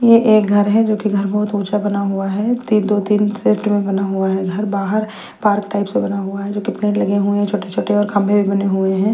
ये एक घर है जोकि घर बहुत ऊँचा बना हुआ है तीन दो तीन क्षेत्र में बना हुआ है घर बाहर पार्क टाइप से बना हुआ है जो कितने लगे हुए हैं छोटे छोटे और खंभे में बने हुए हैं।